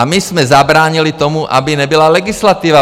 A my jsme zabránili tomu, aby nebyla legislativa.